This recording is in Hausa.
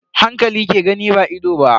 Hankali ke gani ba ido ba.